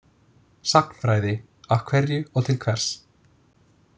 „Sagnfræði, af hverju og til hvers.“